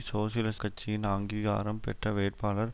சோசியலிஸ் கட்சியின் அங்கீகாரம் பெற்ற வேட்பாளர்